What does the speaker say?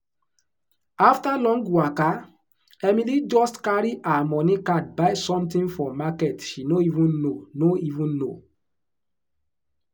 after long waka emily just carry her money card buy something for market she no even no even know.